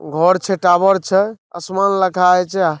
घोर छे टावर छय असमान लघाय जा।